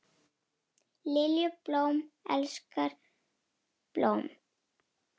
Lilju, blóm elskar blóm.